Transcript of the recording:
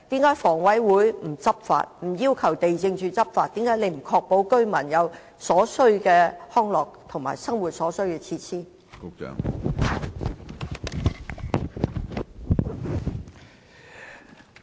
為何房委會不執法、不要求地政總署執法、為何不確保居民可以享有所需的康樂和生活設施？